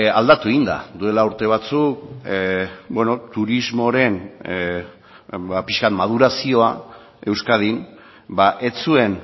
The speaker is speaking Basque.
aldatu egin da duela urte batzuk beno turismoren ba pixka bat madurazioa euskadin ez zuen